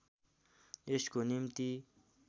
यसको निम्ति